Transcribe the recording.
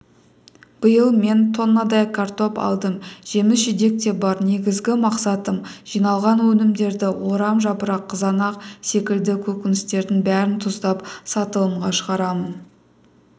биыл мен тоннадай картоп алдым жеміс жидек те бар негізгі мақсатым жиналған өнімдерді орамжапырақ қызанақ секілді көкөністердің бәрін тұздап сатылымға шығарамын